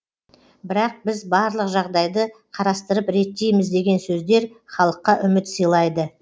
бірақ біз барлық жағдайды қарастырып реттейміз деген сөздер халыққа үміт сыйлайды